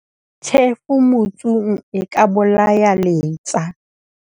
Tjhefu motsung e ka bolaya letsa.